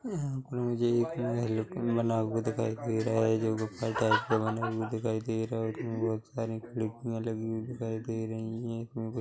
यहाँ पर मुझे एक बना हुआ दिखाई दे रहा है जो लोकल टाइप के बने हुए दिखाई दे रहे हैइसमे बहुत सारी खिड़कियाँ लगी हुई दिखाई दे रही है--